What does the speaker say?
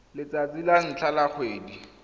letsatsi la ntlha la kgwedi